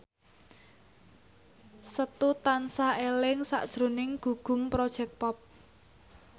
Setu tansah eling sakjroning Gugum Project Pop